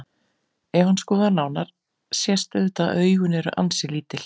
Ef hann skoðar nánar sést auðvitað að augun eru ansi lítil.